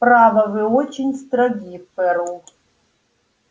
право вы очень строги ферл